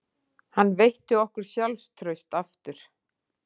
Hann veitti okkur sjálfstraust aftur